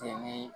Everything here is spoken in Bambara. Fini